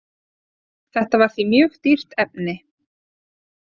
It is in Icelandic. Þetta var því mjög dýrt efni.